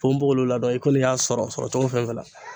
ponbogolo ladɔn i kɔni y'a sɔrɔ sɔrɔ cogo fɛn fɛn la.